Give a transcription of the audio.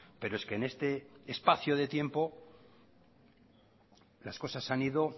pero es que en este espacio de tiempo las cosas se han ido